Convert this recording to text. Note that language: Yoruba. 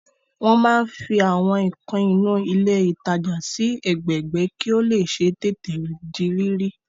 Wọ́n máa ń fi Àwọn nǹkan inú ilé ìtajà sí ẹgbẹẹgbẹ́ kí ó lè ṣeé tètè di rírí